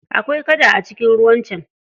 Akwai kada a cikin ruwan can.